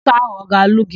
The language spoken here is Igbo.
Nwoke áhụ̀ ọ ga-alụ gị?